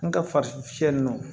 N ka fariso fiyɛli nɔ